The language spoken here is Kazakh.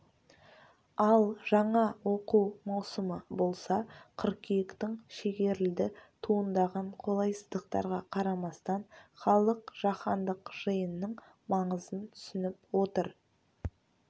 ал жаңа оқу маусымы болса қыркүйектің шегерілді туындаған қолайсыздықтарға қарамастан халық жаһандық жиынның маңызын түсініп отыр